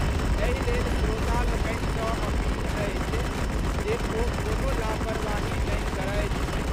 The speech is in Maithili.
एहि लेल श्रोता लोकनि सँ अपील अछि जे ओ कोनो लापरवाही नहि करथि।